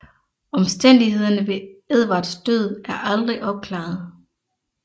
Omstændighederne ved Edvards død er aldrig opklaret